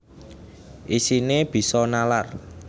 Isine bisa nalar